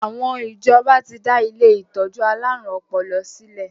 Àwọn ìjọba ti dá ilé ìtọ́jú alárùn ọpọlọ sílè.